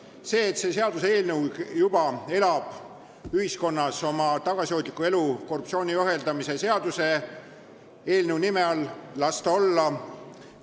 Las see olla, et see seaduseelnõu elab ühiskonnas oma tagasihoidlikku elu korruptsiooni ohjeldamise seaduse eelnõu nime all.